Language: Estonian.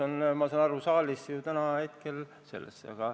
Ma saan aru, et küsimus on saalis hetkel selles.